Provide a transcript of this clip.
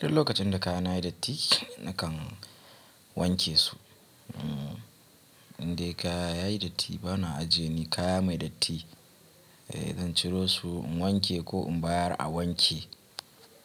Duk lokacin da kaya na yayi datti na kan wanke su. Indai kaya ya yi datti bana ajiye ni kaya mai datti, eh zan ciro su in wanke ko in bayar a wanke.